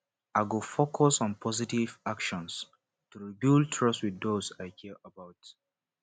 i go focus on positive actions to rebuild trust with those i care about